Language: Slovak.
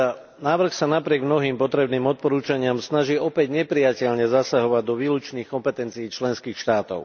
Návrh sa napriek mnohým potrebným odporúčaniam snaží opäť neprijateľne zasahovať do výlučných kompetencií členských štátov.